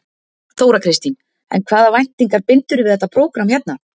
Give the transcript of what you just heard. Þóra Kristín: En hvaða væntingar bindurðu við þetta prógramm hérna?